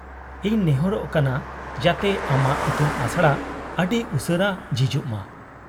-ᱤᱧ ᱱᱮᱦᱚᱨᱚᱜ ᱠᱟᱱᱟ ᱡᱟᱛᱮ ᱟᱢᱟᱜ ᱤᱛᱩᱱ ᱟᱥᱲᱟ ᱟᱹᱰᱤ ᱩᱥᱟᱹᱨᱟ ᱡᱷᱤᱡᱚᱜ ᱢᱟ ᱾